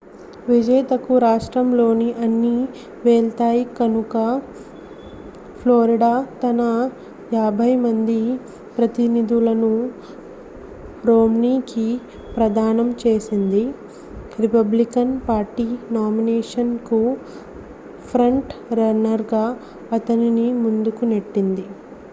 విజేతకు రాష్ట్రంలోని అన్నీ వెళ్తాయి కనుక ఫ్లోరిడా తన యాభై మంది ప్రతినిధులను రోమ్నీకి ప్రదానం చేసింది రిపబ్లికన్ పార్టీ నామినేషన్కు ఫ్రంట్ రన్నర్గా అతనిని ముందుకు నెట్టింది